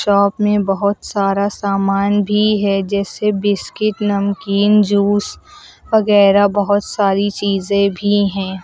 Shop में बहुत सारा सामान भी है जैसे बिस्किट नमकीन जूस वगैरह बहुत सारी चीज़ें भी हैं।